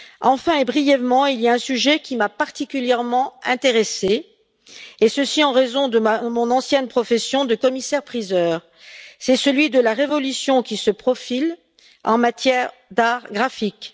Enfin et brièvement, il y a un sujet qui m'a particulièrement intéressée, et ceci en raison de mon ancienne profession de commissaire priseur, c'est celui de la révolution qui se profile en matière d'arts graphiques.